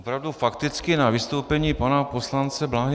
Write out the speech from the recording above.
Opravdu fakticky na vystoupení pana poslance Bláhy.